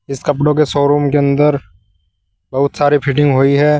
इस कपड़ों के शोरूम के अंदर बहोत सारी फिटिंग हुई है।